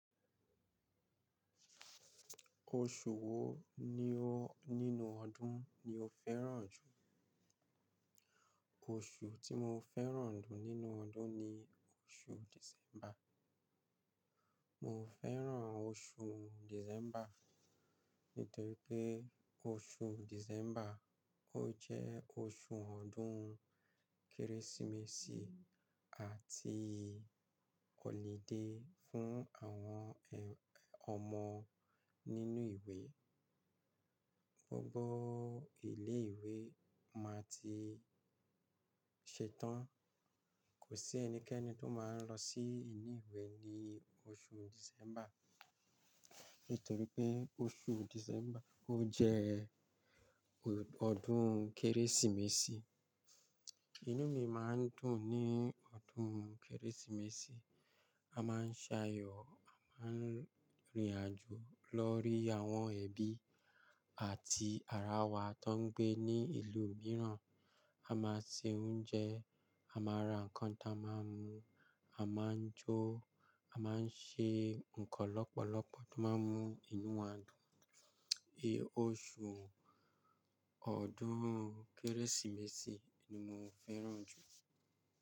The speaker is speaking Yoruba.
Oṣù wo ni o nínú ọdún ni o fẹ́ràn jù? Oṣù tí mo fẹ́ràn jù nínú ọdún ni oṣù December. Mo fẹ́ràn oṣù December nítorí pé oṣù December o jẹ́ oṣù ọdún Kérésìmesì àti Holiday fún àwọn ẹ, ọmọ nínú ìwé. Gbogbo ilé ìwé máa ti ṣetán. Kò sí ẹnikẹ́ni tó máa n lọ sí ilé ìwé ní oṣù December, nítorí pé oṣù December o jẹ́ ọdún Kérésìmesì. Inú mi máa ń dùn ní ọdún Kérésìmesì. A máa ń ṣàyọ̀, a máa ń rìnrìn àjò lọ rí àwọn ẹbí àti ara wa tó ń gbé ní ìlú mìíràn. A máa se oúnjẹ, a máa ra nǹkan tí a máa mú, a máa ń jó, a máa ń ṣe nǹkan lọ́pọ̀lọpọ̀ tó máa ń mú inú wa dùn. I oṣù ọdún Kérésìmesì ni mo fẹ́ràn jù.